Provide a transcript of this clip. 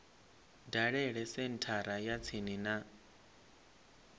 dalele senthara ya tsini ya